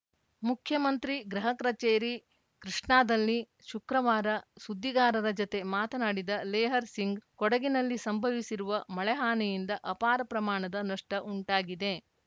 ಮುಖ್ಯಮಂತ್ರಿ ಗೃಹ ಕಚೇರಿ ಕೃಷ್ಣಾದಲ್ಲಿ ಶುಕ್ರವಾರ ಸುದ್ದಿಗಾರರ ಜತೆ ಮಾತನಾಡಿದ ಲೇಹರ್‌ ಸಿಂಗ್‌ ಕೊಡಗಿನಲ್ಲಿ ಸಂಭವಿಸಿರುವ ಮಳೆಹಾನಿಯಿಂದ ಅಪಾರ ಪ್ರಮಾಣದ ನಷ್ಟಉಂಟಾಗಿದೆ